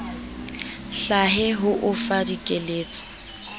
hlahe ho o fa dikeletso